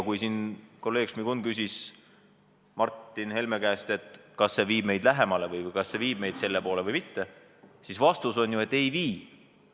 Kui kolleeg Šmigun küsis Martin Helme käest, kas see eelnõu viib meid sellele lähemale, kas see viib meid selle poole või mitte, siis vastus oli ju, et ei vii.